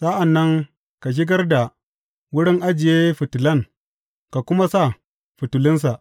Sa’an nan ka shigar da wurin ajiye fitilan ka kuma sa fitilunsa.